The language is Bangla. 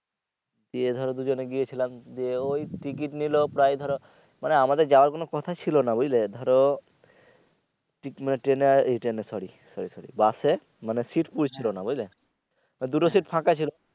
ইয়ে ধরো দুজনে গেয়েছিলাম যেয়ে ওই ঠিক টিকিট নিলো প্রায় ধরো মানে আমাদের যাওয়ার কোন কথা ছিলো না বুঝলে ধরো সরি সরি বাসে মানে সিট মিলছিলো না বুজলে দুটো সিট ফাঁকা ছিলো।